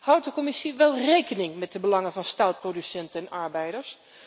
Houdt de Commissie wel rekening met de belangen van staalproducenten en arbeiders?